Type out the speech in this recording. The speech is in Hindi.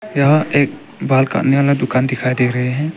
यहां एक बाल काटने वाला दुकान दिखाई दे रहे हैं।